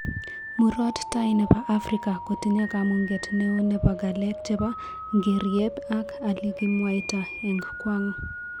murot tai nepo afrika kotinye kamunget neo chepo galek chepo ngeriep en alikimwaito eng kwang